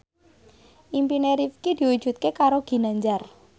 impine Rifqi diwujudke karo Ginanjar